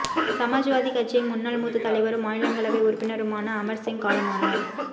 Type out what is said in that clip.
சமாஜ்வாதி கட்சியின் முன்னாள் மூத்த தலைவரும் மாநிலங்களவை உறுப்பினருமான அமர்சிங் காலமானார்